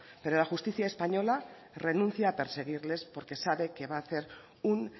pero la justicia española renuncia a perseguirles porque sabe que va a hacer un